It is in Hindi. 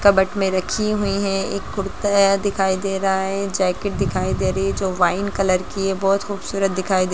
कप्बोर्ड में रखी हुई हैं एक कुर्ता दिखाई दे रहा है जैकेट दिखाई दे रही है जो वाइन कलर की है बहुत खूबसूरत दिखाई दे --